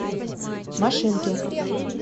машинки